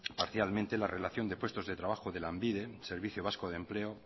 parcialmente la relación de puestos de trabajo de lanbide servicio vasco de empleo